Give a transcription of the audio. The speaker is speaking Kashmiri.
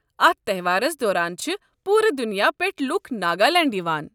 اتھ تہوارَس دوران چھِ پوٗرٕ دنیا پٮ۪ٹھ لوکھ ناگالینڈ یِوان۔